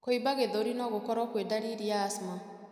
Kũimba gĩthũri no gũkorwo kwĩ ndariri ya asthma.